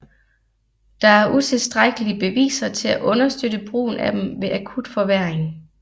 Der er utilstrækkelige beviser til at understøtte brugen af dem ved akut forværring